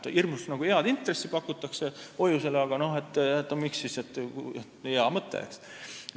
Hoiusele pakutakse hirmus head intressi, nii et tundub hea mõte.